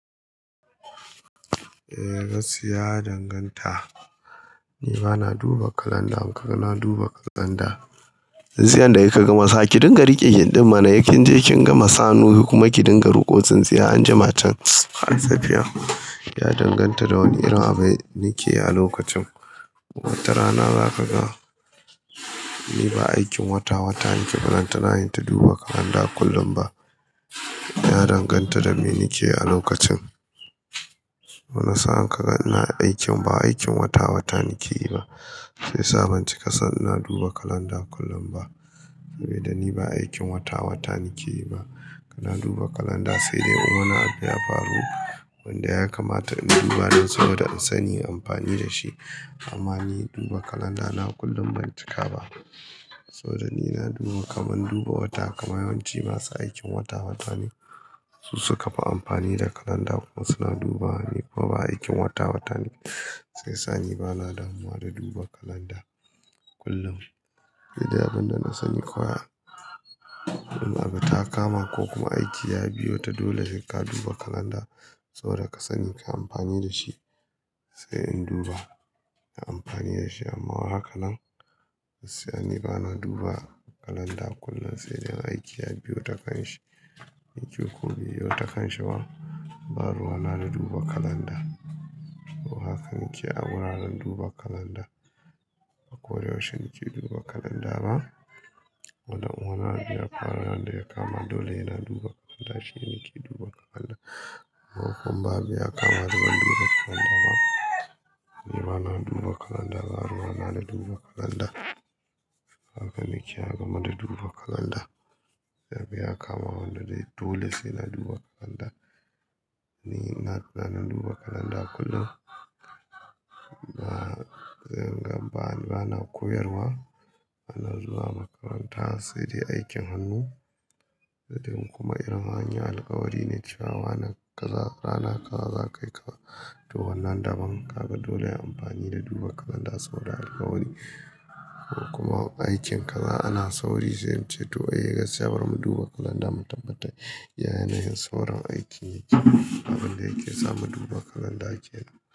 Eh, gaskiya ya danganta. Ni bana duba kalanda in kaga na duba kalanda. Ji yanda kika gama sa, ki dinga rike ginɗin mana. Sai kin je kin gama sa hanu kuma ki dinga ruko tsintsiya anjima. Tsa, safiya ya danganta da wane irin abu nike a lokacin. Wata rana za ka ga ni ba aikin wata-wata nike yi ba balantala in ta duba kalanda kullum ba. Ya danganta da me nike a lokacin. Wani sa'a ka ga ina aikin ba aikin wata-wata nike yi ba. Shi yasa ban cika son ina duba kalanda kullum ba. Dan ni ba aikin wata-wata nike yi ba. Ina duba kalanda sai dai in wani abu ya faru wanda ya kamata in duba don saboda in sani in yi amfani da shi. Amma ni duba kalanda na kullum ban cika ba. Saboda ni na duba kamar duba wata kamar yawanci masu aikin wata-wata ne su suka fi amfani da kalanda kuma suna duba. Ni kuma ba aikin wata-wata nike shiyasa ni bana damuwa da duba kalanda kullum. Se dai abin da na sani kawai, in abu ta kama ko kuma aiki ya biyo ta dole sai ka duba kalanda saboda ka sani kayi amfani da shi. Sai in duba, na yi amfani da shi amma haka nan? Ni bana duba kalanda kullum sai dai in aiki ya biyo takan shi. Aiki ko be biyo takanshi ba, ba ruwa na da duba kalanda. Haka nike a wuraren duba kalanda. Ba koyaushe nike duba kalanda ba. Koda in wani abu ya kama wanda ya kama dole sai na duba kalanda shine nike duba kalanda. Ko kuma abu ya kama ba zan duba kalanda ba. Ni bana duba kalanda ba ruwa na da duba kalanda. Haka nike a game da duba kalanda. Abu ya kama wanda dai dole sai na duba kalanda. Ni ina da daman duba kalanda kullum. Ba, zan ba bana koyarwa, bana zuwa makaranta sai dai aikin hannu. In kuma in anyi alkawari ne cewa rana kaza rana kaza zakai kaza toh wannan daban kaga dole ayi amfani da duba kalanda saboda alkawari. Kuma aikin kaza ana sauri zai ce to ayi gaskiya bari mu duba kalanda mu tabbata. Yana yanayin saurin aikin yake. Abin da yake se mu duba kalanda yake yi.